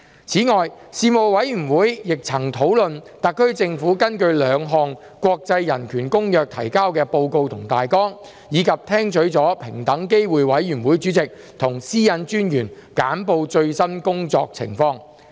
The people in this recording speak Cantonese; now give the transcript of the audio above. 此外，事務委員會曾討論特區政府根據兩項國際人權公約提交的報告及大綱，以及聽取了平等機會委員會主席和私隱專員簡報最新工作情況。